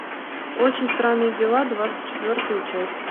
очень странные дела двадцать четвертая часть